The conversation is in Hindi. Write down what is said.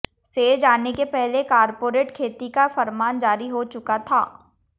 सेज आने के पहले कारपोरेट खेती का फरमान जारी हो चुका था